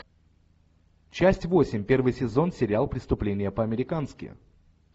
часть восемь первый сезон сериал преступление по американски